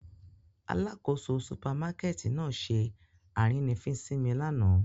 Alakoso supamakẹti nạa ṣe arínifín si mi làná.